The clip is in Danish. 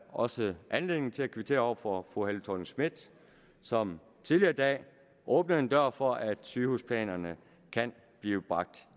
også anledning til at kvittere over for fru helle thorning schmidt som tidligere i dag åbnede en dør for at sygehusplanerne kan blive bragt